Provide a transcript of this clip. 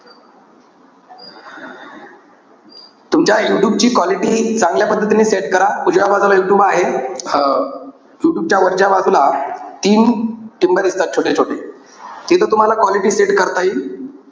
तुमच्या यूट्यूब ची quality चांगल्या पद्धतीने set करा. उजव्या बाजूला यूट्यूब आहे. अं यूट्यूबच्या वरच्या बाजूला तीन टिम्ब दिसतात, छोटे-छोटे. तिथं तुम्हाला quality set करता येईल.